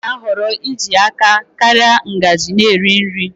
Nne m na-ahọrọ iji aka ya karịa ngaji na-eri nri.